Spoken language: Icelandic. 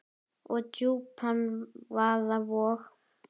og djúpan vaða vog.